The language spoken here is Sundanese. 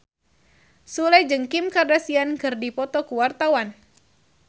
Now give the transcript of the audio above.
Sule jeung Kim Kardashian keur dipoto ku wartawan